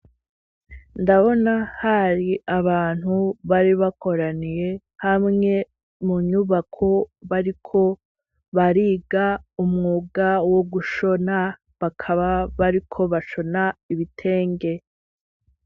Ndabona hari abantu bari bakoraniye hamwe mu nyubako bariko bariga umwuga wo gushona, bakaba bariko bashona ibitenge.